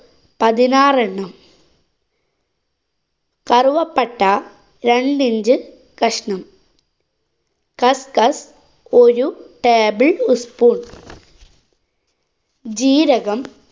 പതിനാറെണ്ണം, കറുവപ്പട്ട രണ്ട് inch കഷ്ണം. കസ്കസ് ഒരു table ഉസ് spoon. ജീരകം